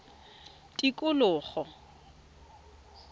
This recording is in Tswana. tikologo